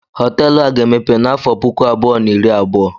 Họteelu a ga-emepe n'afọ puku abụọ na iri abụọ.